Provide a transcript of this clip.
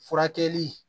Furakɛli